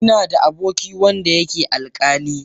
Ina da aboki wanda yake alƙali.